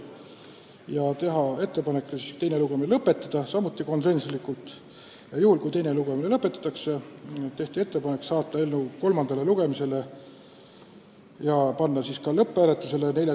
Otsustati teha ettepanek teine lugemine lõpetada ja juhul kui teine lugemine lõpetatakse, saata eelnõu kolmandale lugemisele 14. veebruariks ja panna siis lõpphääletusele.